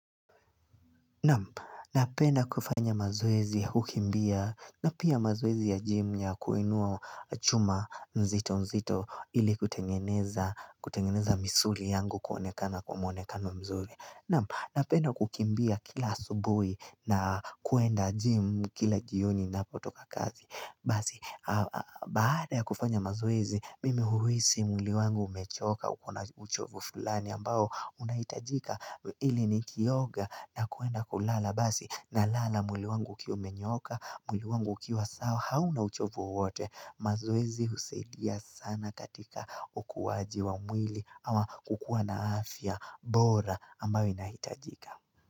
Napenda kufanya mazoezi ya kukimbia na pia mazoezi ya jimu ya kuinua chuma nzito nzito ili kutengeneza misuri yangu kuonekana kwa mwonekano mzuri. Napenda kukimbia kila asubuhi na kuenda jimu kila jioni ninapotoka kazi. Basi, baada ya kufanya mazoezi, mimi hurihisi mwili wangu umechoka, uko na uchovu fulani ambao unahitajika ili nikioga na kuenda kulala. Basi, na lala mwili wangu ukiwa umenyooka, mwili wangu ukiwa sawa, hauna uchovu wote. Mazoezi husaidia sana katika ukuwaji wa mwili ama kukua na afya, bora ambayo inahitajika.